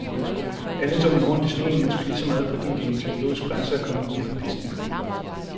Alle tumler rundt i sneen, måske lige så meget fordi det er en psykologisk grænse at komme uden for pisten.